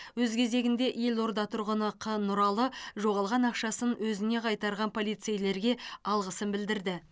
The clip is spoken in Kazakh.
өз кезегінде елорда тұрғыны қ нұралы жоғалған ақшасын өзіне қайтарған полицейлерге алғысын білдірді